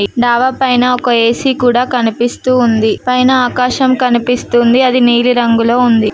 ఈ డాబా పైన ఒక ఏ_సీ కూడా కనిపిస్తూ ఉంది పైన ఆకాశం కనిపిస్తూ ఉంది అది నీలి రంగులో ఉంది.